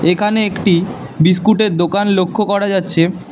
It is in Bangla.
এখানে একটি বিস্কুট -এর দোকান লক্ষ করা যাচ্ছে।